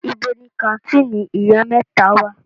Ibo ni kàńtìnì Ìyá mẹ́ta wà?